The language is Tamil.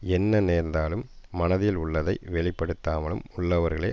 என்ன நேர்ந்தாலும் மனத்தில் உள்ளதை வெளிப்படுத்தாமலும் உள்ளவர்களே